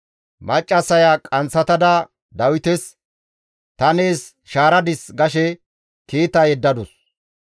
Maccassaya qanththatada Dawites, «Ta nees shaaradis» gashe kiita yeddadus.